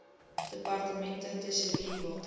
departemente tesourie water